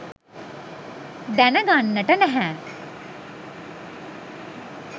දැනගන්නට නැහැ.